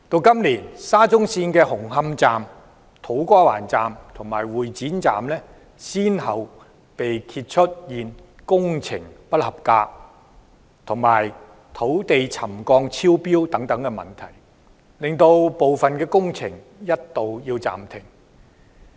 今年沙中線的紅磡站、土瓜灣站和會展站，先後被揭發出現工程不合規格及土地沉降超標等問題，令部分工程須一度暫停。